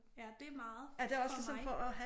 Ja det meget for mig